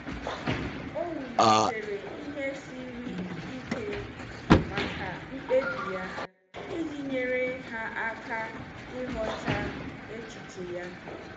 O wulitere ihe siri ike maka mkpebi ya iji nyere ha aka ịghọta echiche ya.